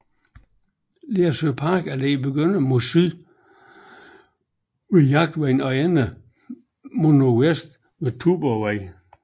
Lersø Parkallé begynder mod syd ved Jagtvej og ender mod nordvest ved Tuborgvej